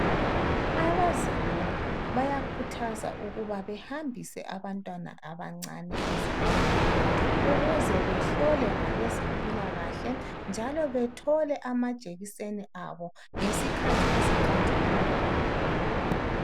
Abazali bayakhuthazwa ukuba bahambise abantwana abancane ezibhedlela ukuze behlolwe ngabezempilakahle njalo bethole amajekiseni abo ngesikhathi esiqondileyo.